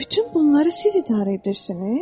Bütün bunları siz idarə edirsiniz?